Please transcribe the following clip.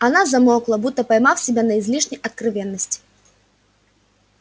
она замолкла будто поймав себя на излишней откровенности